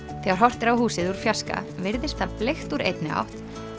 þegar horft er á húsið úr fjarska virðist það bleikt úr einni átt